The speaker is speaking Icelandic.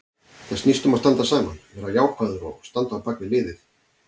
Þetta snýst um að standa saman, vera jákvæður og standa á bakvið liðið.